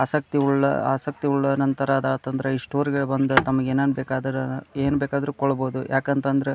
ಆಸಕ್ತಿವುಳ್ಳ ಆಸಕ್ತಿವುಳ್ಳ ನಂತರ ಆತ್ ಅಂದ್ರೆ ಇಷ್ಟು ಈ ಸ್ಟೋರಿಗೆ ಬಂದು ತಮ್ಮಗೆ ಏನ್ ಏನ್ ಬೇಕಾದರು ಏನ್ ಬೇಕಾದ್ರು ಕೊಳ್ಳಬಹುದು ಯಾಕಂತ ಅಂತ ಅಂದ್ರೆ --